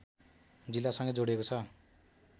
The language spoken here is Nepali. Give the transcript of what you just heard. जिल्लासँगै जोडिएको छ